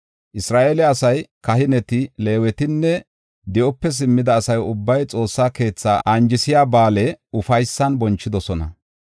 Isra7eele asay, kahineti, Leewetinne di7ope simmida asa ubbay Xoossa keethaa anjisiya ba7aale ufaysan bonchidosona.